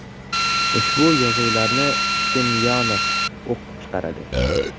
Ushbu yozuvlarni Semyonov o‘qib chiqadi.